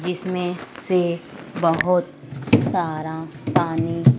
जिसमें से बहोत सारा पानी--